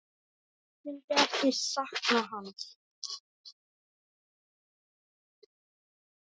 Hver myndi ekki sakna hans?